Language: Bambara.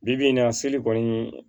Bi bi in na seli kɔni